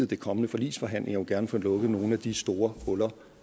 de kommende forligsforhandlinger gerne have lukket nogle af de store huller